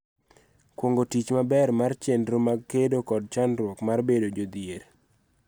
Kuong�o tich maber mar chenro mag kedo kod chandruok mar bedo jodhier.